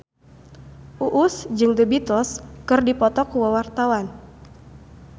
Uus jeung The Beatles keur dipoto ku wartawan